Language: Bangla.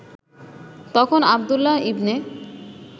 তখন আবদুল্লাহ ইবনে